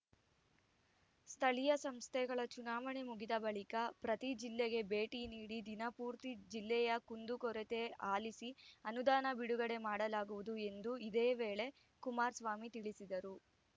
ಸ್ಥಳೀಯ ಸಂಸ್ಥೆಗಳ ಚುನಾವಣೆ ಮುಗಿದ ಬಳಿಕ ಪ್ರತಿ ಜಿಲ್ಲೆಗೆ ಭೇಟಿ ನೀಡಿ ದಿನಪೂರ್ತಿ ಜಿಲ್ಲೆಯ ಕುಂದುಕೊರೆತ ಆಲಿಸಿ ಅನುದಾನ ಬಿಡುಗಡೆ ಮಾಡಲಾಗುವುದು ಎಂದು ಇದೇ ವೇಳೆ ಕುಮಾರಸ್ವಾಮಿ ತಿಳಿಸಿದರು